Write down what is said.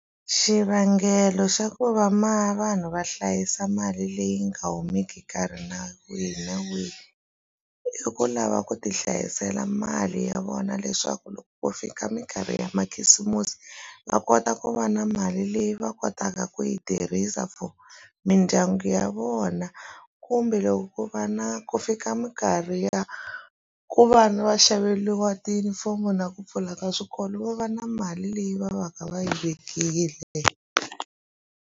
Xivangelo xa ku va vanhu va hlayisa mali leyi nga humeki nkarhi na wihi na wihi i ku lava ku ti hlayisela mali ya vona leswaku ku fika minkarhi ya makhisimusi va kota ku va na mali leyi va kotaka ku yi tirhisa for mindyangu ya vona kumbe loko vana ku fika minkarhi ya ku vana va xaveliwa tiyunifomo na ku pfula ka swikolo vo va na mali leyi va va ka va yi vekile.